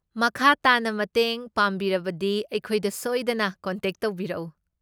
ꯃꯈꯥ ꯇꯥꯅ ꯃꯇꯦꯡ ꯄꯥꯝꯕꯤꯔꯕꯗꯤ, ꯑꯩꯈꯣꯏꯗ ꯁꯣꯏꯗꯅ ꯀꯣꯟꯇꯦꯛ ꯇꯧꯕꯤꯔꯛꯎ꯫